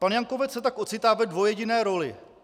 Pan Jankovec se tak ocitá ve dvojjediné roli.